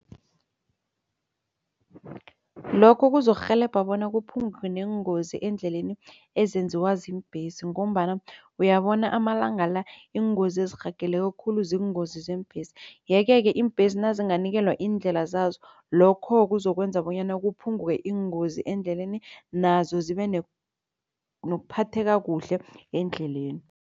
Lokho kuzokurhelebha bona kuphunguke neengozi eendleleni ezenziwa ziimbhesi ngombana uyabona amalanga la iingozi ezirhageleko khulu ziingozi zeembesi. Yeke-ke iimbhesi nazinganikelwa iindlela zazo lokho kuzokwenza bonyana kuphunguke iingozi endleleni nazo zibe nokuphatheka kuhle endleleni.